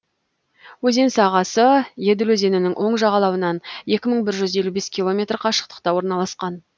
өзен сағасы еділ өзенінің оң жағалауынан екі мың бір жүз елу бір километр қашықтықта орналасқан